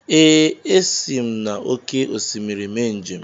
Ee, esi m n’oké osimiri mee njem.